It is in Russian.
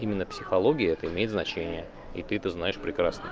именно психология это имеет значение и ты это знаешь прекрасно